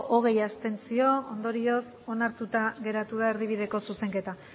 hogei abstentzio ondorioz onartuta geratu da erdibideko zuzenketa